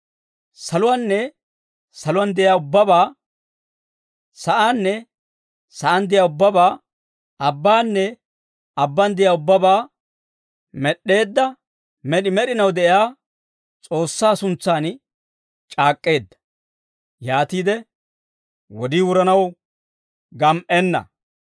Saluwaanne saluwaan de'iyaa ubbabaa, sa'aanne sa'aan de'iyaa ubbabaa, abbaanne abbaan de'iyaa ubbabaa, med'd'eedda med'i med'inaw de'iyaa S'oossaa suntsan c'aak'k'eedda. Yaatiide, «Wodii wuranaw gam"enna.